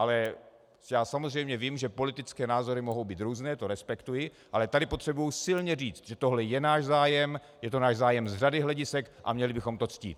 Ale já samozřejmě vím, že politické názory mohou být různé, to respektuji, ale tady potřebuji silně říct, že tohle je náš zájem, je to náš zájem z řady hledisek, a měli bychom to ctít.